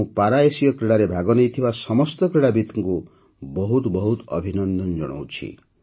ମୁଁ ପାରାଏସୀୟ କ୍ରୀଡ଼ାରେ ଭାଗନେଇଥିବା ସମସ୍ତ କ୍ରୀଡ଼ାବିତ୍ଙ୍କୁ ବହୁତ ବହୁତ ଅଭିନନ୍ଦନ ଜଣାଉଛି